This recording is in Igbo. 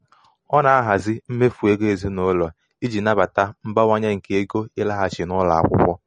a na-ahazi mmefu ego ezinụlọ iji nabata um mbawanye nke ego ịlaghachi n'ụlọ akwụkwọ.